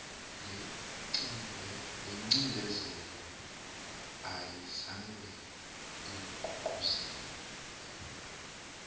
lencindezi ayizange igqugquzele